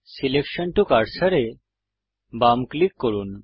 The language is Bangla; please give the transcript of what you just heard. সিলেকশন টো কার্সর এ বাম ক্লিক করুন